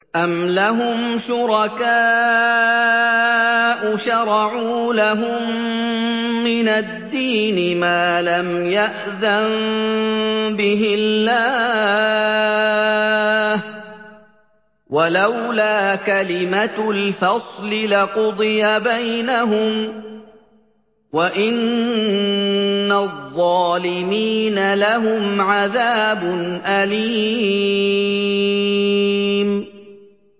أَمْ لَهُمْ شُرَكَاءُ شَرَعُوا لَهُم مِّنَ الدِّينِ مَا لَمْ يَأْذَن بِهِ اللَّهُ ۚ وَلَوْلَا كَلِمَةُ الْفَصْلِ لَقُضِيَ بَيْنَهُمْ ۗ وَإِنَّ الظَّالِمِينَ لَهُمْ عَذَابٌ أَلِيمٌ